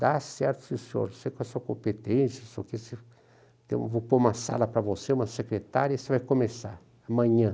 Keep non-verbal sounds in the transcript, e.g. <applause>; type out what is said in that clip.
Dá certo, sim senhor, sei qual é a sua competência, <unintelligible> vou pôr uma sala para você, uma secretária, e você vai começar, amanhã.